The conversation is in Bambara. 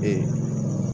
Ee